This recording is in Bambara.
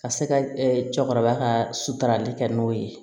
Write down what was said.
Ka se ka cɛkɔrɔba ka sutarali kɛ n'o ye